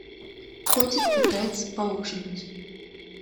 котик пытается поужинать